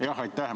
Aitäh!